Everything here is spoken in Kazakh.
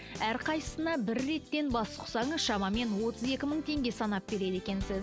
әрқайсысына бір реттен бас сұқсаңыз шамамен отыз екі мың теңге санап береді екенсіз